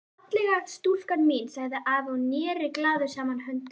Fallega stúlkan mín sagði afi og neri glaður saman höndunum.